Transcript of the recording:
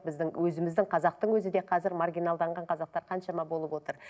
біздің өзіміздің қазақтың өзі де қазір маргиналданған қазақтар қаншама болып отыр